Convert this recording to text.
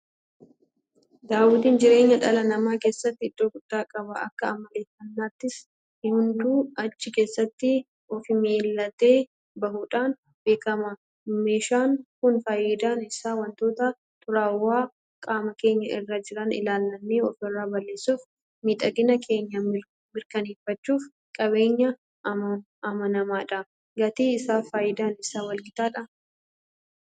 Daawwitiin jireenya dhala namaa keessatti iddoo guddaa qaba. Akka amaleeffannaattis hunduu achi keessatti ofmil'atee bahuudhaan beekama. Meeshaan kun faayidaan isaa waantota xuraawoo qaama keenya irra jiran ilaallannee ofirraa balleessuufi miidhagina keenya mirkaneeffachuuf qabeenya amanamaadha. Gatii isaafi faayidaan isaa walgitaadhaa?